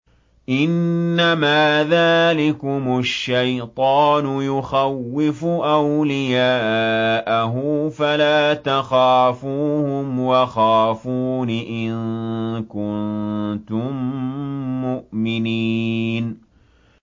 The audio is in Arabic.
إِنَّمَا ذَٰلِكُمُ الشَّيْطَانُ يُخَوِّفُ أَوْلِيَاءَهُ فَلَا تَخَافُوهُمْ وَخَافُونِ إِن كُنتُم مُّؤْمِنِينَ